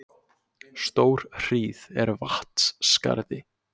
Stórhríð er Vatnsskarði